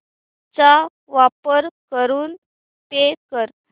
चा वापर करून पे कर